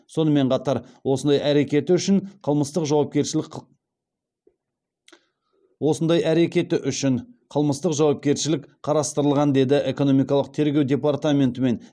сонымен қатар осындай әрекеті үшін қылмыстық жауапкершілік қарастырылған деді экономикалық тергеу департаментінен